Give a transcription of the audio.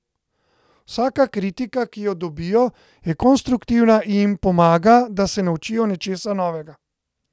Vsaka kritika, ki jo dobijo, je konstruktivna in jim pomaga, da se naučijo nečesa novega.